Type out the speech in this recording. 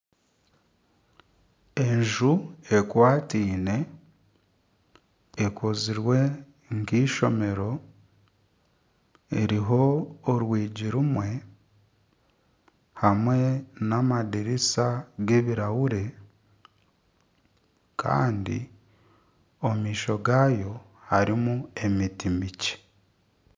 Enju ekwataine ekozirwe nk'eishomero eriho orwiji rumwe hamwe n'amadirisa g'ebirahuri kandi omu maisho gaayo harimu emiti mikye.